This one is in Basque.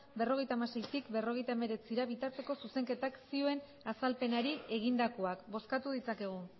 berrogeita hamaseitik berrogeita hemeretzira bitarteko zuzenketak zioen azalpenari egindakoak bozkatu ditzakegu